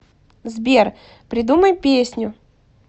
сбер придумай песню